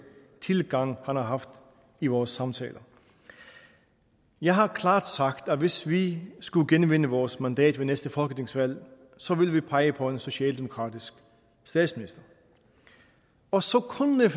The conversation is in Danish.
tilgang han har haft i vores samtaler jeg har klart sagt at hvis vi skulle genvinde vores mandat ved næste folketingsvalg så vil vi pege på en socialdemokratisk statsminister og så kunne